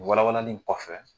Walawalali in kɔfɛ